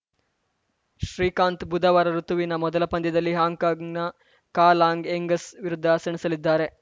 ಶ್ರೀಕಾಂತ್‌ ಬುಧವಾರ ಋುತುವಿನ ಮೊದಲ ಪಂದ್ಯದಲ್ಲಿ ಹಾಂಕಾಂಗ್‌ನ ಕಾ ಲಾಂಗ್‌ ಎಂಗಸ್‌ ವಿರುದ್ಧ ಸೆಣಸಲಿದ್ದಾರೆ